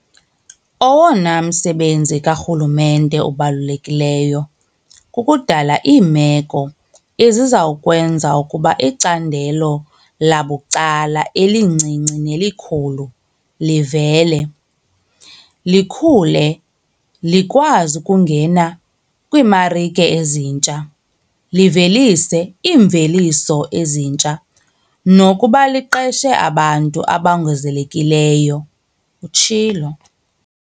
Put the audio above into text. "Owona msebenzi karhulumente obalulekileyo kukudala iimeko eziza kwenza ukuba icandelo labucala - elincinci nelikhulu - livele, likhule, likwazi ukungena kwiimarike ezintsha, livelise iimveliso ezintsha, nokuba liqeshe abantu abongezelelekileyo," utshilo.